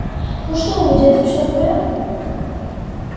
ну что вы дядя всё в порядке